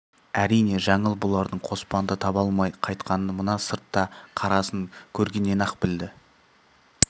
әрине жаңыл бұлардың қоспанды таба алмай қайтқанын мана сыртта қарасын көргеннен-ақ білді